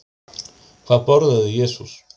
Hvað borðaði Jesús?